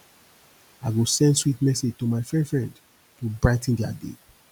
i go send sweet message to my friend friend to brigh ten dia day